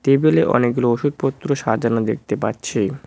টেবিলে অনেকগুলো ওষুধপত্র সাজানো দেখতে পাচ্ছি।